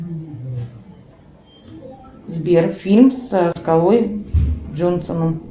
сбер фильм со скалой джонсоном